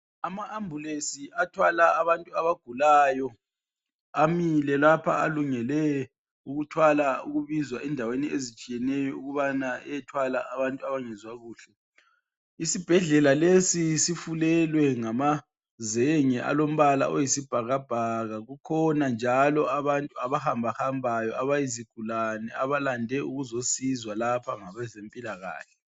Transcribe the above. Ama ambulensi athwala abantu abagulayo amile lapha alungele ukuthwala ukubizwa endaweni ezitshiyeneyo ukubana eyothwala abantu abangezwa kuhle, isibhedlela lesi sifulelwe ngamazenge alombala oyisibhakabhaka kukhona njalo abantu abahamba hambayo abayizigulane abalande ukuzosizwa lapha ngabezempilakahle.